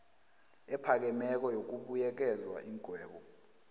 ephakemeko yokubuyekeza iingwebo